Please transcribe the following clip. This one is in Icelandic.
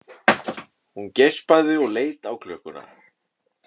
Hún geispaði og leit á klukkuna.